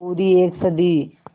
पूरी एक सदी